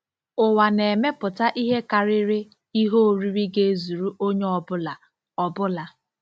Ụwa na-emepụta ihe karịrị ihe oriri ga-ezuru onye ọ bụla. ọ bụla.